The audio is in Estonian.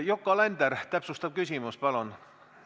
Yoko Alender, täpsustav küsimus, palun!